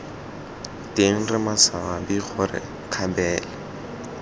teng re maswabi gore kgabele